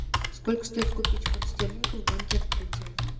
сколько стоит купить фунт стерлингов в банке открытие